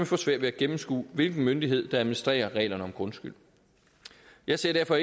få svært ved at gennemskue hvilken myndighed der administrerer reglerne om grundskyld jeg ser derfor